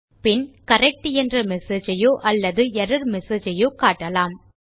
பின் நாம் கரெக்ட் என்ற மெசேஜ் ஐயோ அல்லது எர்ரர் மெசேஜ் ஐயோ காட்டலாம்